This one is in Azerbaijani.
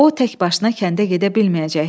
O, tək başına kəndə gedə bilməyəcəkdi.